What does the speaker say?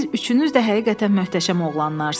Siz üçünüz də həqiqətən möhtəşəm oğlanlarsınız.